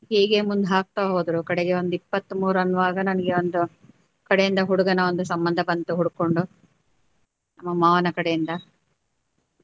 ಹೀಗೆ ಮುಂದ್ ಹಾಕ್ತಾ ಹೋದ್ರು ಕಡೆಗೆ ಒಂದ್ ಇಪ್ಪತ್ಮೂರು ಅನ್ನುವಾಗ ನನಗೆ ಒಂದು ಕಡೆಯಿಂದ ಹುಡುಗನ ಒಂದು ಸಂಬಂಧ ಬಂತು ಹುಡ್ಕೊಂಡು ಮಾವನ ಕಡೆಯಿಂದ.